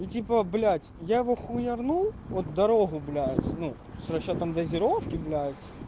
ну типа блять я вахуернул вот дорогу блять ну с учётом дозировки блять